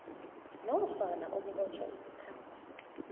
nofana ukubotjhwa isikhathi